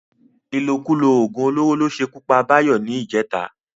Ìlòkulò ògùn olóró ló ṣe ikú pa Báyọ̀ ní ìjẹta